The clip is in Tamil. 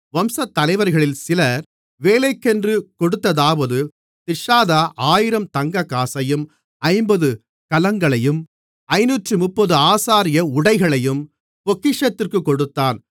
வம்சத்தலைவர்களில் சிலர் வேலைக்கென்று கொடுத்ததாவது திர்ஷாதா 1000 தங்கக்காசையும் 50 கலங்களையும் 530 ஆசாரிய உடைகளையும் பொக்கிஷத்திற்குக் கொடுத்தான்